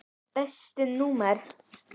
Besta númer?